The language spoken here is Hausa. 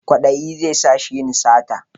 Kwaɗayi zai sa shi yin sata